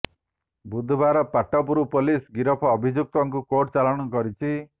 ବୁଧବାର ପାଟପୁର ପୋଲିସ ଗିରଫ ଅଭିଯୁକ୍ତକୁ କୋର୍ଟ ଚାଲାଣ କରିଛି